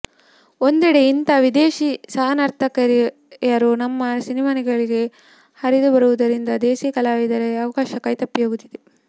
ಒಂದೆಡೆ ಇಂಥ ವಿದೇಶಿ ಸಹನರ್ತಕಿಯರು ನಮ್ಮ ಸಿನಿಮಾಗಳಿಗೆ ಹರಿದು ಬರುತ್ತಿರುವುದರಿಂದ ದೇಸಿ ಕಲಾವಿದೆಯರ ಅವಕಾಶಗಳು ಕೈತಪ್ಪಿ ಹೋಗುತ್ತಿವೆ